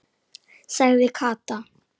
sagði Kata.